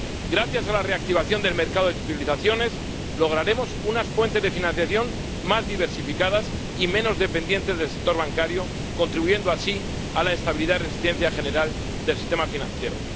Gracias a la reactivación del mercado de titulizaciones, lograremos unas fuentes de financiación más diversificadas y menos dependientes del sector bancario, contribuyendo así a la estabilidad y resistencia general del sistema financiero.